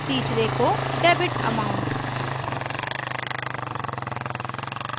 तीसरे को debit amount